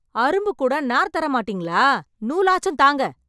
அரும்பு கூட நார் தர மாட்டிங்களா? நூலாச்சுத் தாங்க.